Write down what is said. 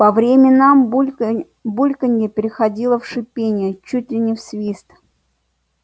по временам бульканье переходило в шипение чуть ли не в свист